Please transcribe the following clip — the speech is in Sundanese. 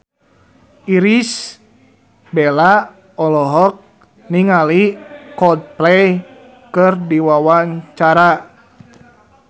Irish Bella olohok ningali Coldplay keur diwawancara